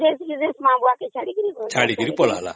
ସେ ମା ବାପା ଙ୍କୁ ଛାଡିକି ପଳେଇଲା ଛାଡିକି ପଳେଇଲା